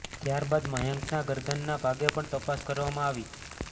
ત્યાર બાદ મયંકના ગરદનના ભાગે પણ તપાસ કરવામાં આવી